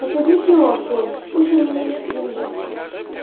посади фила в поезд пусть он мне их привезёт